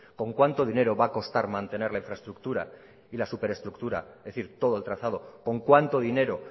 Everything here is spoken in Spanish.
con cuánto dinero va a costar mantener la infraestructura y la superestructura es decir todo el trazado con cuánto dinero